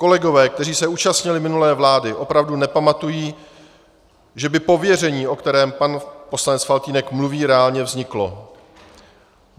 Kolegové, kteří se účastnili minulé vlády, opravdu nepamatují, že by pověření, o kterém pan poslanec Faltýnek mluví, reálně vzniklo.